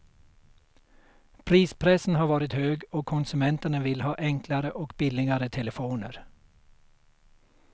Prispressen har varit hög och konsumenterna vill ha enklare och billigare telefoner.